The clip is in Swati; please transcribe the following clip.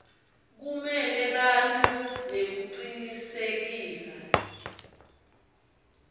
kumela bantfu nekucinisekisa